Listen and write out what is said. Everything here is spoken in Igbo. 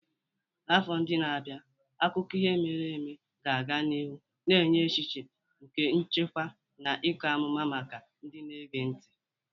N'afọ ndị na-abịa, akụkọ ihe mere eme ga-aga n'ihu na-enye echiche nke nchekwa na ịkọ amụma maka ndị na-ege ntị.